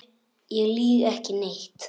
Ég lýg ekki neitt.